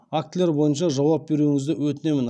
актілер бойынша жауап беруіңізді өтінемін